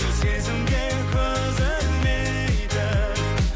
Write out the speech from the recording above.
сезімге көз ілмейтін